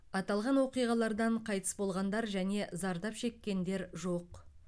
аталған оқиғалардан қайтыс болғандар және зардап шеккендер жоқ